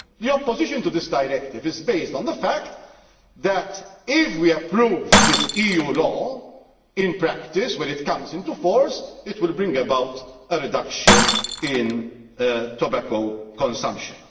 The opposition to this Directive is based on the fact that, if we approve this EU law, in practice, when it comes into force, it will bring about a reduction in tobacco consumption.